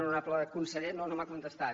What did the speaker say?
honorable conseller no no m’ha contestat